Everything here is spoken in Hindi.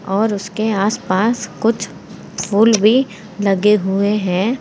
और उसके आस पास कुछ फूल भी लगे हुए है।